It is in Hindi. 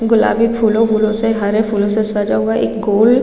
गुलाबी फूलो वुलो से हरे फूलो से सजा हुआ एक गोल--